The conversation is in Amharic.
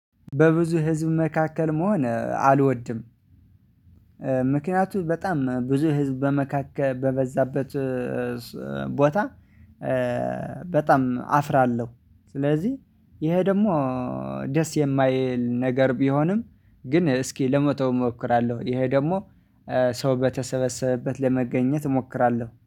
በብዙ ህዝብ መካከል መሆን አልወድም። ምክንያቱም በጣም ብዙ ህዝብ በመካከል በበዛበት ቦታ በጣም አፍራለ። ስለዚህ ይሄ ደግሞ ደስ የማይል ነገር ቢሆንም ግን እስኪ ለመቶ እሞክራለሁ፤ ይሄ ደግሞ ሰው በተሰበሰበበት ለመገኘት እሞክራለሁ።